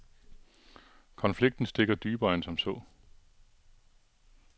Konflikten stikker dybere end som så.